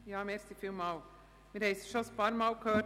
Wir haben es schon ein paarmal gehört: